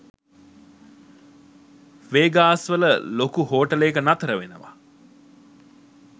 Vegas වල ලොකු හෝටලේක නතර වෙනවා